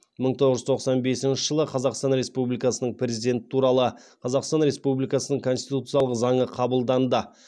мың тоғыз жүз тоқсан бесінші жылы қазақстан республикасының президенті туралы қазақстан республикасының конституциялық заңы қабылданды